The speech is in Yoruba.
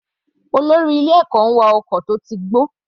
Olórí ilé ẹ̀kọ́ ń wa ọkọ̀ tó ti gbó.